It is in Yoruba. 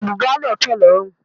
Bùbá náà fẹ̀ lórùn.